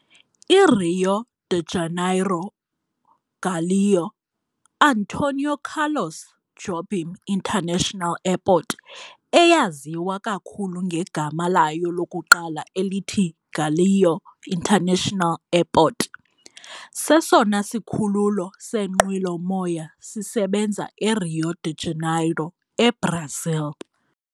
I-Rio de Janeiro - Galeão - Antonio Carlos Jobim International Airport eyaziwa kakhulu ngegama layo lokuqala elithi Galeão International Airport, sesona sikhululo seenqwelomoya sisebenza eRio de Janeiro, eBrazil.